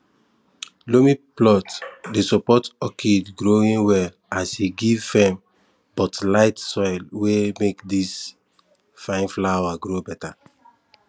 loamy plot dey support orchid growing well as e give firm but light soil wey make these fine flowers grow better